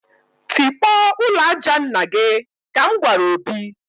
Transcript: Tikpọọ ụlọ aja nna gị!, ka m gwara Obi